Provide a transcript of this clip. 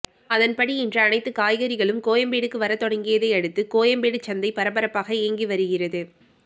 அதன்படி இன்று அனைத்து காய்கறிகளும் கோயம்பேடுக்கு வர தொடங்கியதை அடுத்து கோயம்பேடு சந்தை பரபரப்பாக இயங்கி வருகிறது